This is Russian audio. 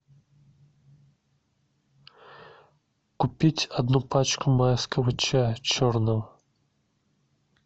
купить одну пачку майского чая черного